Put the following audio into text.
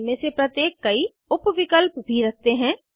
इनमे से प्रत्येक कई उप विकल्प भी रखते हैं